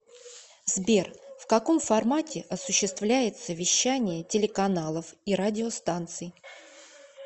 сбер в каком формате осуществляется вещание телеканалов и радиостанций